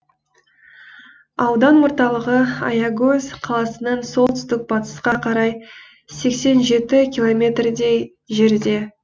аудан орталығы аягөз қаласынан солтүстік батысқа қарай сексен жеті километрдей жерде